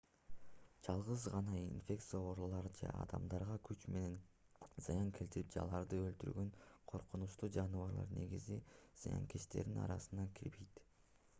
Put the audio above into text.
жалгыз гана инфекциялык оорулар же адамдарга күч менен зыян келтирип же аларды өлтүргөн коркунучтуу жаныбарлар негизи зыянкечтердин арасына кирбейт